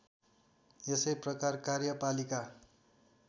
यसै प्रकार कार्यपालिका